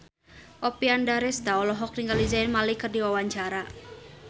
Oppie Andaresta olohok ningali Zayn Malik keur diwawancara